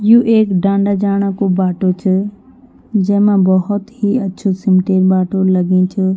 यु एक डांडा जाणा कु बाटू च जैमा बहौत ही अछू सिमटे बाटू लग्युं च।